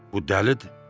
Bu dəlidi.